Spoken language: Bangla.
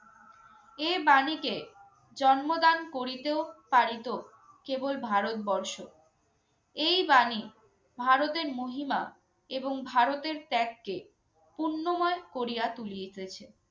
এ বাণীকে জন্মদান করিতেও পারিত কেবল ভারতবর্ষ। এই বাণী ভারতের মহিমা এবং ভারতের ত্যাগকে পুণ্যময় করিয়া তুলিতেছে